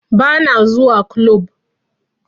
Ba na zuwa kulob